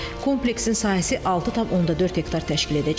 Kompleksin sahəsi 6.4 hektar təşkil edəcək.